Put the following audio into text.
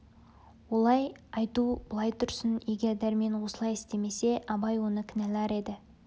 олай айту былай тұрсын егер дәрмен осылай істемесе абай оны кінәлар еді